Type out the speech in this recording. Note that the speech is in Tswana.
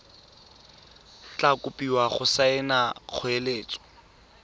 tla kopiwa go saena kgoeletso